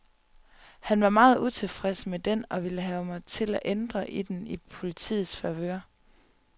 Han var meget utilfreds med den og ville have mig til at ændre den i politiets favør.